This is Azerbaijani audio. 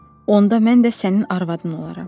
Onda mən də sənin arvadın olaram.